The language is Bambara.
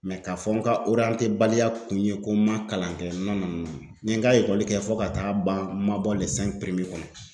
k'a fɔ n ka baliya kun ye ko ma kalan kɛ n ye n ka ekɔli kɛ fɔ ka taa'a ban ma bɔ kɔnɔ.